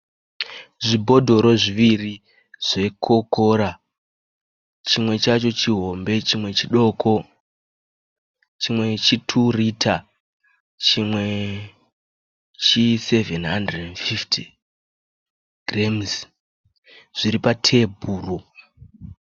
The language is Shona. Zvibhodhoro zviviri zvekokora. Chimwe chacho chihombe chimwe chidoko. Chimwe 2 rita chimwe chi 750 giremusi zviri patebhuru.